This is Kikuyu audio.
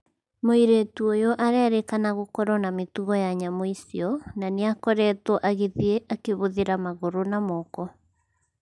Mũirĩtu ũyũ arerĩkana gũkorwo na mĩtugo ya nyamũ icio na nĩakoretwo agĩthiĩ akĩhũthĩra magũrũ na moko.